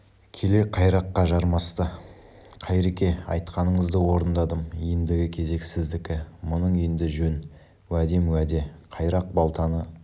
келе қайраққа жармасты қайреке айтқаныңызды орындадым ендігі кезек сіздікі мұның енді жөн уәдем уеде қайрақ балтаны